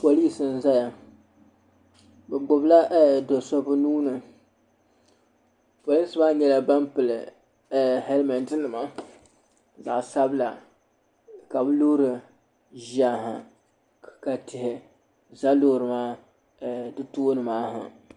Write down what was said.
Polilsi n zaya be gbibila doo so be nuuni polinsi maa nyala ban pili helmɛɛti nima zaɣ sabila ka be loori ʒiya ha ka tihi za loori maa tooni ha